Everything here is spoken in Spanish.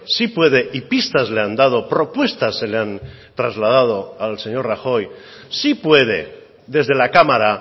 sí puede y pistas le han dado propuestas se le han trasladado al señor rajoy si puede desde la cámara